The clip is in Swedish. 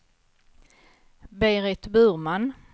Berit Burman